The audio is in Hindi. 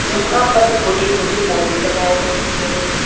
यहां पर छोटे-छोटे पौधे लगाए गए हैं।